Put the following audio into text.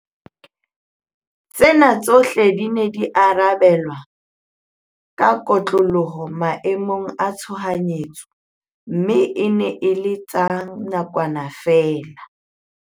Tsena tsohle di ne di arabe la ka kotloloho maemo a tshohanyetso mme e ne e le tsa nakwana feela.